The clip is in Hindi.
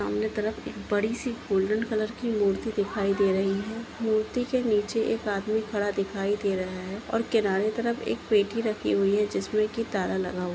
सामने तरफ एक बड़ी सी गोल्डन कलर की मूर्ति दिखाई दे रही है मूर्ति के नीचे एक आदमी खड़ा दिखाई दे रहा है और किनारे तरफ एक पेटी रखी हुई है जिसमे कि ताला लगा हुआ।